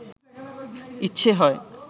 ইচ্ছে হয়